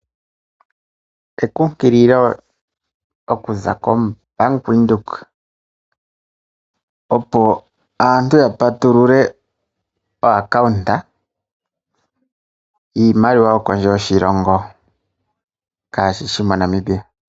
Ekunkililo okuza koBank Windhoek opo aantu ya patulule omapeko giimaliwa yo kondje yoshilongo kashishi moNamibia.